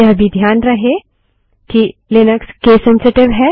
यह भी ध्यान रहे कि लिनक्स केस सेंसिटिव है